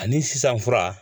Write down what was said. Ani sisan fura